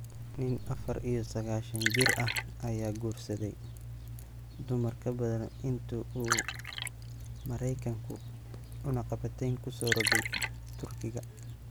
Nin afaar iyo sagaashan jir ah ayaa guursaday dumar ka badan intii uu Maraykanku cunaqabatayn ku soo rogay Turkiga.